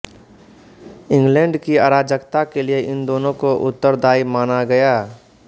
England की अराजकता के लिए इन दोनों को उत्तरदायी माना गया